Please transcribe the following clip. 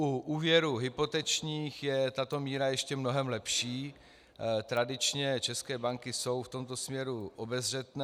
U úvěrů hypotečních je tato míra ještě mnohem lepší, tradičně české banky jsou v tomto směru obezřetné.